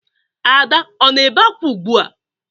Ada ọ na-ebe ákwá ugbua?